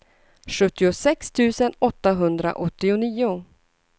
sjuttiosex tusen åttahundraåttionio